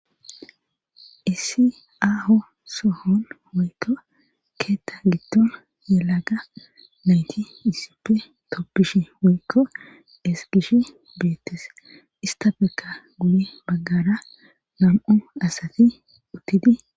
Issi aaho sohon woykko keetta giddon yelaga nayti yussippe toppishi woykko esgishi beettes istafeka guli baggara nam7u asati uttidi